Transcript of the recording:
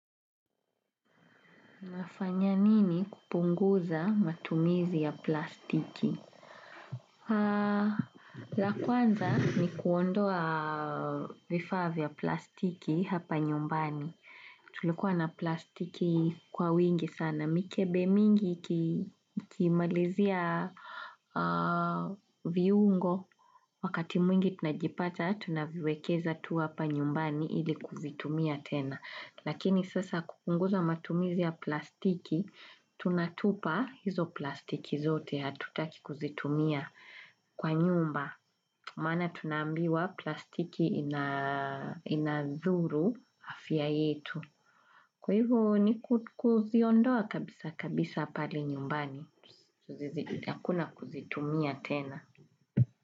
Nafanya nini kupunguza matumizi ya plastiki? La kwanza ni kuondoa vifaa vya plastiki hapa nyumbani. Tulikuwa na plastiki kwa wingi sana. Mikebe mingi ikimalizia viungo. Wakati mwingi tunajipata, tunaviwekeza tuwa hapa nyumbani ili kuvitumia tena. Lakini sasa kupunguza matumizi ya plastiki, tunatupa hizo plastiki zote hatutaki kuzitumia kwa nyumba. Maana tunambiwa plastiki inadhuru afya yetu. Kwa hivo ni kuziondoa kabisa kabisa pale nyumbani. Hakuna kuzitumia tena.